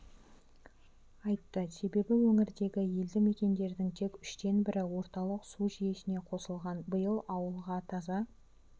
айтты себебі өңірдегі елді мекендердің тек үштен бірі орталық су жүйесіне қосылған биыл ауылға таза